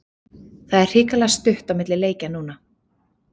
Það er hrikalega stutt á milli leikja núna.